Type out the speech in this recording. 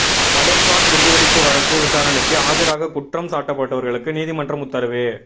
மலேகான் குண்டுவெடிப்பு வழக்கு விசாரணைக்கு ஆஜராக குற்றம் சாட்டப்பட்டவர்களுக்கு நீதிமன்றம் உத்தரவு